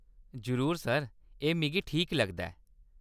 जरूर सर। एह्‌‌ मिगी ठीक लगदा ऐ।